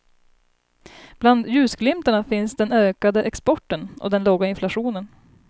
Bland ljusglimtarna finns den ökade exporten och den låga inflationen.